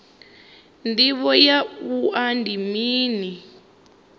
ndivho ya wua ndi mini